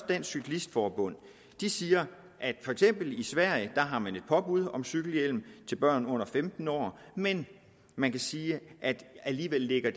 dansk cyklist forbund de siger at for eksempel i sverige har man et påbud om cykelhjelm til børn under femten år men man kan sige at det alligevel ligger